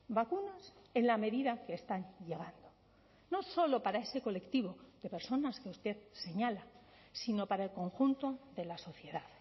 vacunas en la medida que están llegando no solo para ese colectivo de personas que usted señala sino para el conjunto de la sociedad